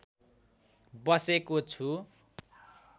बसेको छु